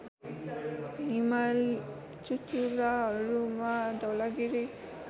हिमाल चुचुराहरूमा धौलागिरि